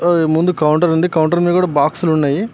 ముందు కౌంటర్ ఉంది కౌంటర్ మీద బాక్స్లు ఉన్నయి.